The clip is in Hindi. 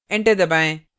enter दबाएँ